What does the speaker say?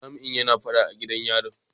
Jami'in yana fada a gidan yarin.